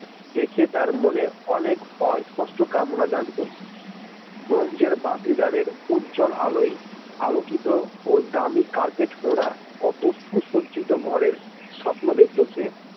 দেখে তার মনে অনেক অস্পষ্ট কামনা জাগত ব্রোঞ্জের বাতিদানের আলোয় উজ্বল আলোয় আলোকিত ও দামী carpet মোরা কত সুসজ্জিত ঘরের স্বপ্ন দেখতো সে।